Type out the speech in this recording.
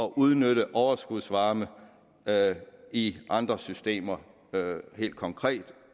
udnytte overskudsvarme i andre systemer helt konkret